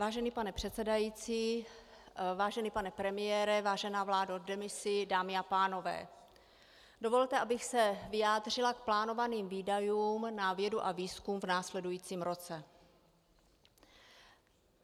Vážený pane předsedající, vážený pane premiére, vážená vládo v demisi, dámy a pánové, dovolte, abych se vyjádřila k plánovaným výdajům na vědu a výzkum v následujícím roce.